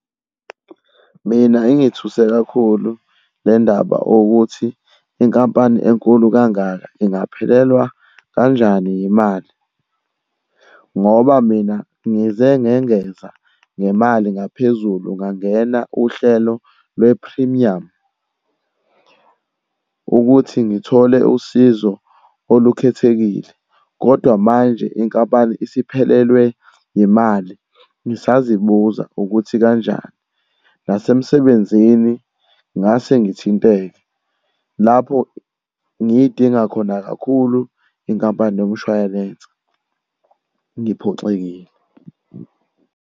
Mina ingithuse kakhulu le ndaba ukuthi inkampani enkulu kangaka ingaphelelwa kanjani yimali? Ngoba mina ngize ngengeza nemali ngaphezulu ngangena uhlelo lwe phrimiyamu ukuthi ngithole usizo olukhethekile, kodwa manje inkampani isiphelelwe yimali. Ngisazibuza ukuthi kanjani? Nasemsebenzini ngase ngithinteke. Lapho ngiyidinga khona kakhulu inkampani yomshwayelense. Ngiphoxekile.